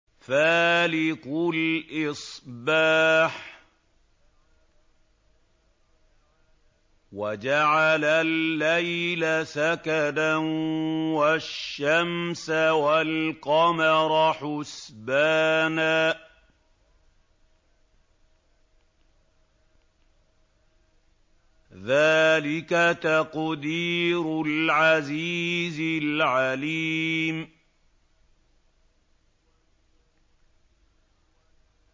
فَالِقُ الْإِصْبَاحِ وَجَعَلَ اللَّيْلَ سَكَنًا وَالشَّمْسَ وَالْقَمَرَ حُسْبَانًا ۚ ذَٰلِكَ تَقْدِيرُ الْعَزِيزِ الْعَلِيمِ